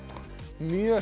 mjög